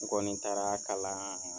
N kɔni taara kalan